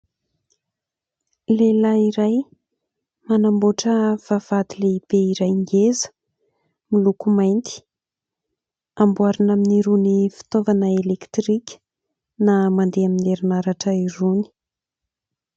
Lehilahy iray manamboatra vavahady lehibe iray ngeza miloko mainty, amboarina amin'irony fitaovana elektrika na mandeha amin'ny herinaratra irony.